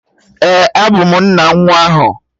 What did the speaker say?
Ee, abụ m nna nwa ahụ